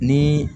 Ni